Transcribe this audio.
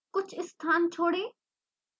कुछ स्थान छोड़ें